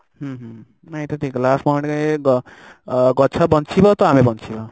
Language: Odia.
ହୁଁ ହୁଁ ହୁଁ ନାଇଁ ଏଇଟା ଠିକ ହେଲା last point ଗ ଗଛ ବଞ୍ଚିବ ତ ଆମେ ବଞ୍ଚିବା